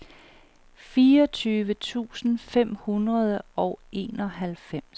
fireogtyve tusind fem hundrede og enoghalvfems